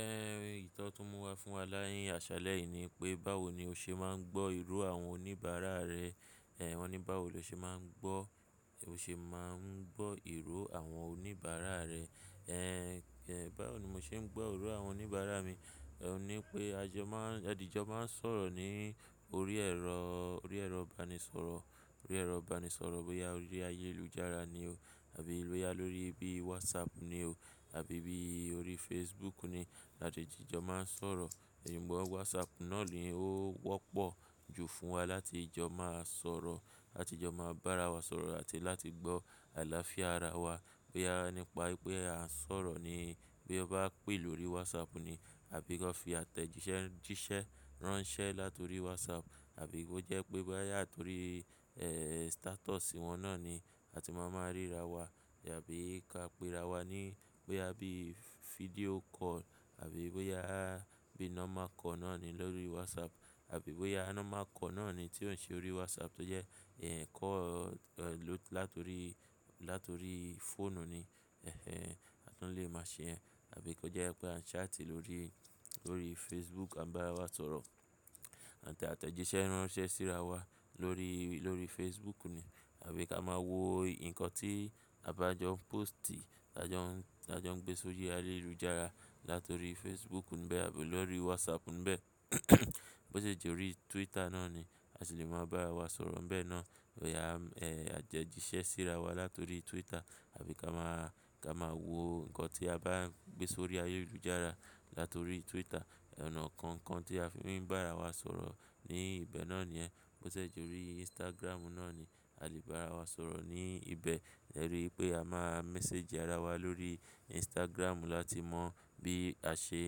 Ẹ́, ìtọ́ tó mú wa fún wa ni àṣálẹ́ yìí ni pé báwo ni o ṣe máa ń gbọ́ ìró àwọn oníbàárà rẹ? Ẹ̀, wọ́n ní báwo lo ṣe máa ń gbọ́, o ṣe máa ń gbọ́ ìró àwọn oníbàárà rẹ? Ẹ̀, ẹ̀ báwo ni mo ṣe ń gbọ́ ìró àwọn oníbàárà mi? Ẹ̀ ní pé a jọ máa ń-- a di jọ máa ń sọ̀rọ̀ ní orí ẹ̀rọ, orí ẹ̀rọ ìbánisọ̀rọ̀, orí ẹ̀rọ ìbánisọ̀rọ̀ bóyá orí ayélujára ni o àbí lórí ibi WhatsApp ni o àbí ibi orí Facebook ni a tẹ̀jìjọ máa ń sọ̀rọ̀. Sugbọ́n WhatsApp náà ni ó wọ́pọ̀ jù fún wa láti jọ máa sọ̀rọ̀, láti jọ máa bá ara wa sọ̀rọ̀ àti láti gbọ́ àlàáfíà ara wa pé a nípa pé a ń sọ̀rọ̀ ni. Bí ó bá pè lórí WhatsApp ni àbí kó fi àtẹ̀jìṣẹ́-jíṣẹ́ ránṣẹ́ láti orí WhatsApp àbí kó jẹ́ pé bóyá torí, ẹ́ẹ́, status wọn náà ni a ti máa máa ríra wa àbí ká pe ra wa ní pé á bí video call àbí bóyá á bí normal call náà ni lórí WhatsApp àbí bóyá normal call náà ni tí ó ń ṣe orí WhatsApp tó jẹ́, ẹ́ẹ́, call, ẹ́ ẹ́, láti orí, láti orí fóònù ni, ẹh ẹn, a tún lè máa ṣe yen. Àbí kó jẹ́ pé a ń chat lórí, lórí Facebook à bá wa sọ̀rọ̀ àti àtẹ̀jìṣẹ́ ránṣẹ́ síra wa lórí, lórí Facebook ni. Àbí ká máa wo nǹkan tí a bá jọ póòstì tí a jọ ń, tí a jọ ń gbé sórí ayélujára láti orí Facebook níbẹ̀ àbí lórí WhatsApp níbẹ̀. Bó ṣe jẹ́ orí Twitter náà ni a sì lè máa bá ara wa sọ̀rọ̀ níbẹ̀ náà. Boyá, ẹ́ ẹ́, àtẹ̀jìṣẹ́ síra wa láti orí Twitter àbí ká máa, ká máa wo nǹkan tí a bá gbé sórí ayélujára láti orí Twitter. Ọ̀nà kankan tí a fi ń bá ara wa sọ̀rọ̀ ní ibẹ̀ náà ni yẹ́n. Bó ṣe jẹ́ orí Instagram náà ni a lè bá ara wa sọ̀rọ̀ ní ibẹ̀. Ẹ̀ rí i pé a máa message ara wa lórí Instagram láti mọ bí a ṣe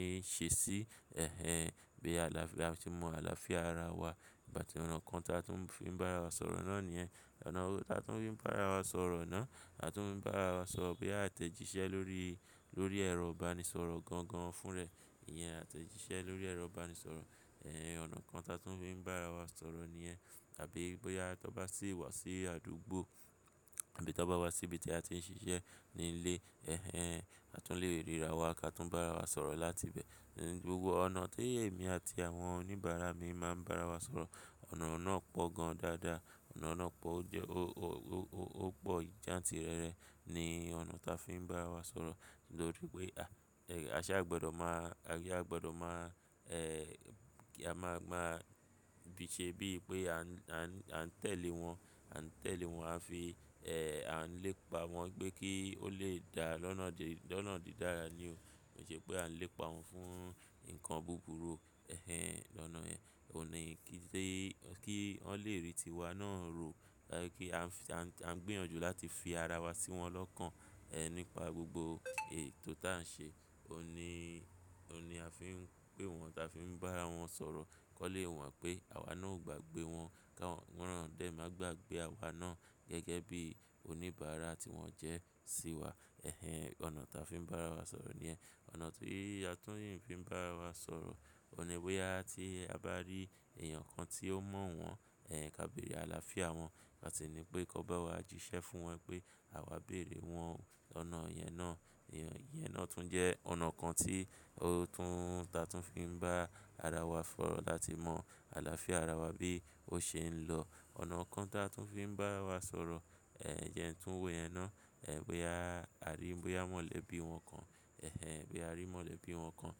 ń ṣe sí, ẹh ẹn, bí àlàáfíà, a ti mọ àlàáfíà ara wa. Ìpá ti ọ̀nà kan taa tún fín bá ara wa sọ̀rọ̀ náà ni yẹ́n. Ọ̀nà taa tún fín bá ara wa sọ̀rọ̀ náà, a tún fín bá ara wa sọ̀rọ̀ pé a tẹ̀jíṣẹ́ lórí, lórí ẹrọ ìbánisọ̀rọ̀ gan gan fún rẹ̀. Iyẹn a tẹ̀jíṣẹ́ lórí ẹrọ ìbánisọ̀rọ̀, ẹ́ ẹ́, ọ̀nà kan taa tún fín bá ara wa sọ̀rọ̀ ni yẹ́n Àbí bóyá tó bá sì wá sí àdúgbò àbí tó bá wá sí ibi tí a ti ń ṣiṣẹ́ ní ilé, ẹh ẹn, a tún lè ríra wa ká tún bá ara wa sọ̀rọ̀ láti ibẹ̀. Ni gbogbo ọ̀nà tó èmi àti àwọn oníbàárà mi máa ń bá ara wa sọ̀rọ̀, ọ̀nà ọ̀nà pọ̀ gan dáadáa. Ọ̀nà ọ̀nà pọ̀ ó jẹ́ ó, ó, ó, ó, ó pọ̀ jantìrẹrẹ ni ọ̀nà taa fín bá ara wa sọ̀rọ̀. Lori pé a, ẹ́ ẹ́, aṣá gbọ́dọ̀ máa, asa gbọ́dọ̀ máa, ẹ́ ẹ́, kí a máa, máa bí i ṣe bí i pé a ń, a ń, a ń tẹ̀lé wọn, a ń tẹ̀lé wọn a fi, ẹ́ ẹ́, a ń lépa wọ́n pé kí ó lè dá lọ́nà di, lọ́nà dídára ni o. Ó ṣe pé a ń lépa wọn fún nǹkan burúkú, ẹh ẹn, lọ́nà yẹ́n. Ó ní kí tó, kí wọ́n lè rí tiwa náà ro, kí a ń f-- a ń gbìyànjú láti fi ara wa sí wọn lọ́kàn, ẹ́ ẹ́, nípa gbogbo ètò tá ń ṣe. Ó ní, ó ní a fi ń pè wọ́n, ta fi ń bá wọn sọ̀rọ̀ kọ́'lé mọ pé àwa náà ò gbàgbé wọn, ká wọn na dẹ́ máa gbàgbé àwa náà gẹ́gẹ́ bí oníbàárà tí wọ́n jẹ́ sí wa. Ẹh ẹn, ọ̀nà taa fín bá ara wa sọ̀rọ̀ ni yẹ́n. Ọ̀nà tií a tún fí n bá ara wa sọ̀rọ̀, ó ní bóyá tí a bá rí èèyàn kan tí ó mọ̀ wọ́n, ẹ́ ẹ́, ká bẹ̀rẹ̀ àlàáfíà wọn. A sì ní pé kó bá wa jíṣẹ́ fún wọn pé àwa béèrè wọ́n. Ọ̀nà yẹn náà, yẹn náà tún jẹ́ ọ̀nà kan tí ó tún, ta tún fín bá ara wa sọ̀rọ̀ láti mọ àlàáfíà ara wa bí ó ṣe ń lọ. Ọ̀nà kan taa tún fín bá wa sọ̀rọ̀, ẹ́ ẹ́, yẹn tún wo iyẹn náà. Ẹ̀ bóyá a rí, bóyá a mọ̀lẹ́bí wọn kan, ẹh ẹn, bí a rí mọ̀lẹ́bí wọn kan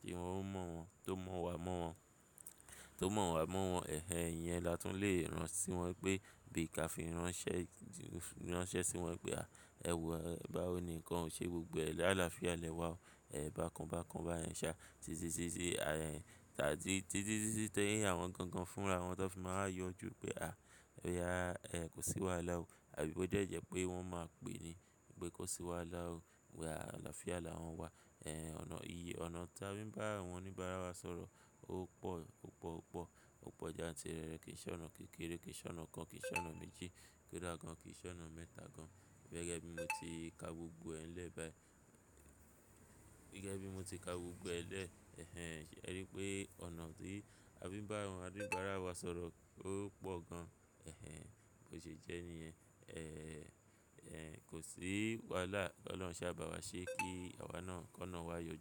tí wọn ó mọ̀ wọ́n, tó mọ̀ wà mọ́ wọ́n, tó mọ̀ wà mọ́ wọ́n, ẹh ẹn, iyẹn la tún lè rán sí wọn pé bí ká fi ránṣẹ́, ránṣẹ́ sí wọn pé, "À, ẹ wò ó ẹ́, báwo ni ǹkan ò ṣe gbogbo ẹ̀ sáà'làáfíà lẹ wá o?" Ẹ̀ bákan bákan bá yẹn ṣá, títí, títí, títí, títí tẹ́yìn àwọn gangan fún ra. Àwọn tó fi máa yọjú pé a, pé a, ẹ́ ẹ́, kò sí wàhálà o àbí bó jẹ́ jẹ́ pé wọ́n máa pè ní pé kó sí wàhálà o, wí pé àlàáfíà làwọn wa. Ẹ̀ ọ̀nà iyẹn, ọ̀nà taa fín bá àwọn oníbàárà wa sọ̀rọ̀ ó pọ̀, ó pọ̀, ó pọ̀, ó pọ̀ jantìrẹrẹ. Kì í ṣe ọ̀nà kékeré, kì í ṣe ọ̀nà kan, kì í ṣe ọ̀nà méjì kódà gan, kì í ṣe ọ̀nà mẹ́ta gan. Gẹ́gẹ́ bí mo ti ka gbogbo ẹ̀ lẹ́ bá yẹn. Gẹ́gẹ́ bí mo ti ka gbogbo ẹ̀ lẹ́, ẹh ẹn, ẹ rí i pé ọ̀nà tii a fi ń bá àwọn oníbàárà wa sọ̀rọ̀ ó pọ̀ gan. Ẹh ẹn, bó ṣe jẹ́ ní ẹ́, ẹ́ ẹ́, kò sí wàhálà. Kí Ọlọ́run ṣá bà wa ṣe kí àwa náà kó náà wá yọjú.